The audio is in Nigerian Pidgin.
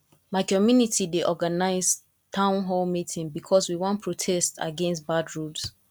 my community dey organize town hall meeting because we wan protest against bad roads